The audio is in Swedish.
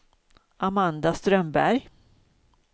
Amanda Strömberg